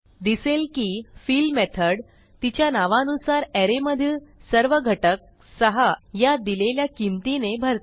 दिसेल की fill method तिच्या नावानुसार अरे मधील सर्व घटक 6 या दिलेल्या किमतीने भरते